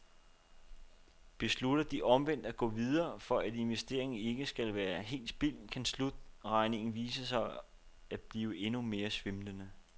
Beslutter de omvendt at gå videre, for at investeringen ikke skal være helt spildt, kan slutregningen vise sig at blive endnu mere svimlende.